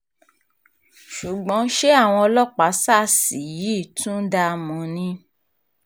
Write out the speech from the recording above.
ṣùgbọ́n ṣé àwọn ọlọ́pàá sars yìí tún dáa mọ́ ni